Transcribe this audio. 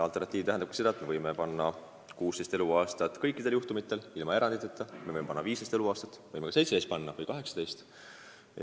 Alternatiiv tähendabki seda, et me võime kehtestada piiriks 16 eluaastat kõikidel juhtumitel ehk siis ilma eranditeta, me võime seadusesse panna 15 eluaastat või 17 või ka 18.